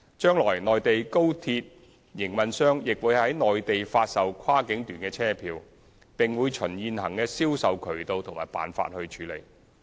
將來內地高鐵營運商亦會在內地發售跨境段車票，並會循現行的銷售渠道和辦法處理。